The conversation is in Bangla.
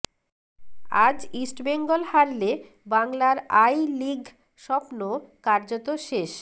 আজ ইস্টবেঙ্গল হারলে বাংলার আই লিগ স্বপ্ন কার্যত শেষ